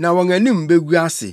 na wɔn anim begu ase.